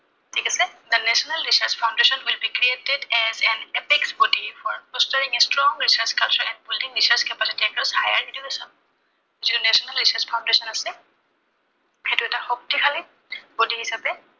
ঠিক আছে, the national research foundation will be created as an epics body for strong research culture and the capacity of higher education যিটো national research foundation আছে, সেইটো এটা শক্তিশালী body হিচাপে